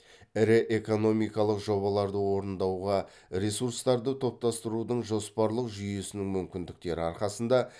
ірі экономикалық жобаларды орындауға ресурстарды топтастырудың жоспарлық жүйесінің мүмкіндіктері арқасында